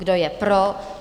Kdo je pro?